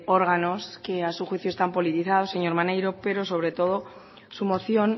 órganos que a su juicio están politizados señor maneiro pero sobre todo su moción